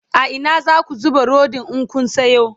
a Ina zaku zuba Rodin in Kun Sayo?